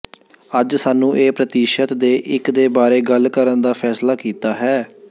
ਅੱਜ ਸਾਨੂੰ ਇਹ ਪ੍ਰਤੀਸ਼ਤ ਦੇ ਇੱਕ ਦੇ ਬਾਰੇ ਗੱਲ ਕਰਨ ਦਾ ਫੈਸਲਾ ਕੀਤਾ ਹੈ